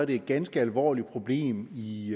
et ganske alvorligt problem i